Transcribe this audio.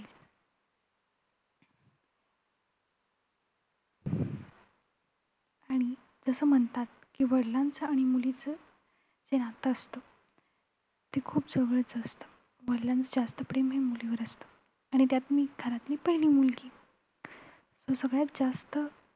आणि जसं म्हणतात कि वडिलांचं आणि मुलीचं जे नातं असतं ते खूप जवळच असतं वडिलांचं जास्त प्रेम हे मुलीवर असतं. आणि त्यात मी घरातली पहिली मुलगी तर सगळ्यात जास्त